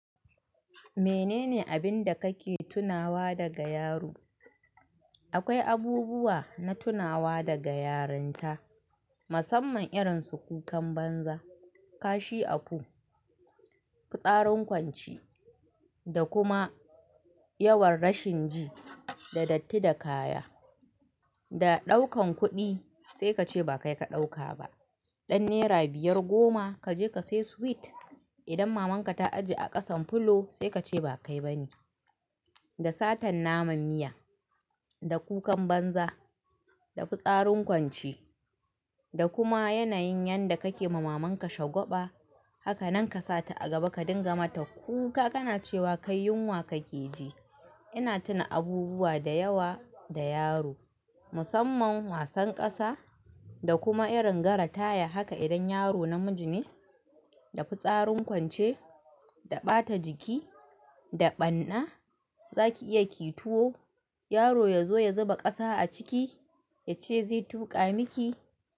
Menene abinda kake tunawa daga yaro? Akwai abubuwa na tunawa daga yarinta, musamman irin su kukan banza, kashi a po, fitsarin kwance da kuma yawan rashin ji da datti da kaya. Da ɗaukan kuɗi sai kace ba kai ka ɗauka ba. Ɗan naira biyar goma kaje ka sai sweet. Idan maman ka ta aji a ƙasan fulo sai kace ba kai bane. Da satan naman miya, da kukan banza, da fitsarin kwance da kuma yanayin yanda kake ma maman ka shagwaɓa. Haka nan ka sata a gaba ka dinga mata kuka kana cewa kai yunwa kake ji. Ina tuna abubuwa da yawa da yaro, musamman wasan ƙasa da kuma irin gara taya. Haka idan yaro namiji ne, da fitsarin kwance, da ɓata jiki, da ɓanna. Zaki iya kiyi tuwo, yaro ya zo ya zuba ƙasa a ciki yace zai tuƙa miki.